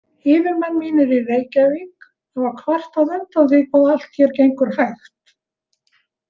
Yfirmenn mínir í Reykjavík hafa kvartað undan því hvað allt hér gengur hægt.